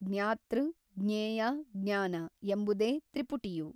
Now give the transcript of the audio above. ಜ್ಞಾತೃ ಜ್ಞೇಯ ಜ್ಞಾನ ಎಂಬುದೇ ತ್ರಿಪುಟಿಯು.